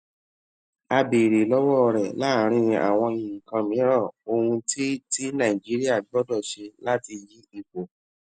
a béèrè lówó rè láàárín àwọn nǹkan mìíràn ohun tí tí nàìjíríà gbódò ṣe láti yí ipò